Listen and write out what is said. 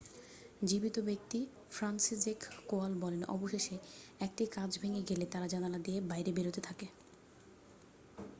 "জীবিত ব্যক্তি Franciszek Kowal বলেন "অবশেষে 1টি কাঁচ ভেঙে গেলে তারা জানলা দিয়ে বাইরে বেরোতে থাকে।"